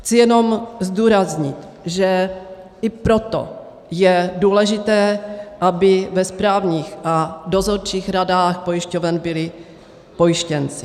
Chci jenom zdůraznit, že i proto je důležité, aby ve správních a dozorčích radách pojišťoven byli pojištěnci.